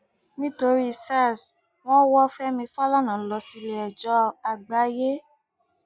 nítorí sars wọn wọ fẹmi falana lọ sílẹẹjọ àgbáyé